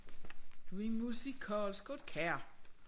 Du en musikalsk kar